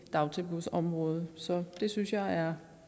dagtilbudsområdet det synes jeg er